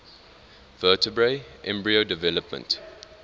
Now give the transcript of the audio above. vertebrate embryo development